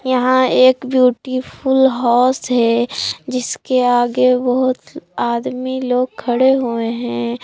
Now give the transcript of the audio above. यहां एक beautiful house है जिसके आगे बहोत आदमी लोग खड़े हुए हैं।